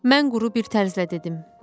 Mən quru bir tərzlə dedim: